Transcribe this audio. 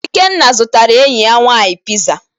Ikenna zụtara enyi ya nwaanyị piza.